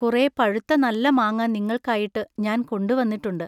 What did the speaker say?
കുറെ പഴുത്ത നല്ല മാങ്ങാ നിങ്ങൾക്കായിട്ടു ഞാൻ കൊണ്ടുവന്നിട്ടുണ്ടു.